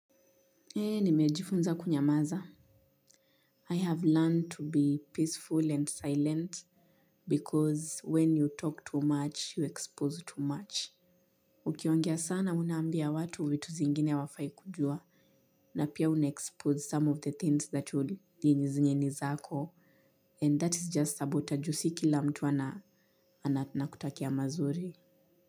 Eee nimejifunza kunyamaza. I have learned to be peaceful and silent because when you talk too much, you expose too much. Ukiongea sana unambia watu vitu zingine hawafai kujua na pia unaexpose some of the things that nini zenye ni zako. And that is just about ju si kila mtu ananakutakia mazuri.